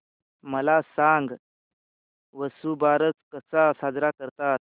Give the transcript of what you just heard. मला सांग वसुबारस कसा साजरा करतात